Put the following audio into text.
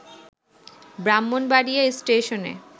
ব্রাহ্মণবাড়িয়া স্টেশনে